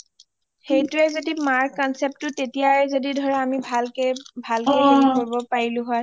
সেইটোয়ে যদি মাৰ concept টো তেতিয়াই যদি ধৰা আমি ভালকে হেৰি কৰিব পাৰিলো হয়